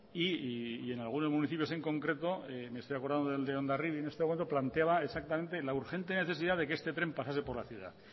y algunos municipios en concreto me estoy acordando de hondarribia en este momento planteaba exactamente la urgente necesidad de que este tren pasase por la ciudad